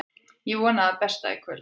Ég vona það besta í kvöld.